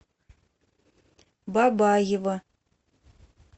бабаево